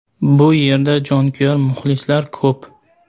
Bu yerda jonkuyar muxlislar ko‘p.